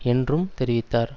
என்றும் தெரிவித்தார்